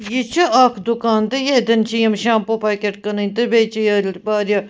یہِ چُھ اکھ دُکان تہٕ ییٚتٮ۪ن چھ یِم .۔تہٕ بیٚیہِ چھ یورٕواریاہ